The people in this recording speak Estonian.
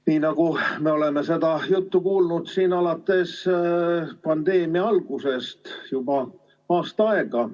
Nii nagu me oleme seda juttu kuulnud alates pandeemia algusest juba aasta aega.